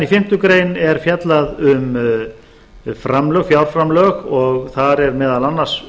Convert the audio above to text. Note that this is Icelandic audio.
í fimmtu grein er síðan fjallað um fjárframlög og þar er meðal annars